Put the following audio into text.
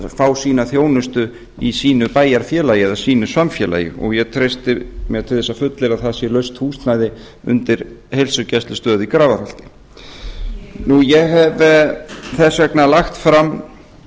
fá sína þjónustu í sínu bæjarfélagi eða í sínu samfélagi ég treysti mér til þess að fullyrða það sé laust húsnæði undir heilsugæslustöð í grafarholti ég hef þess vegna lagt fram